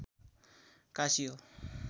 काशी हो